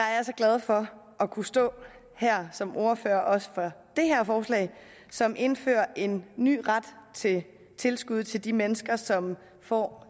glad for at kunne stå her som ordfører også for det her forslag som indfører en ny ret til tilskud til de mennesker som får